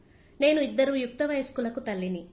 నేను ఇద్దరు యుక్త వయస్కులకు తల్లిని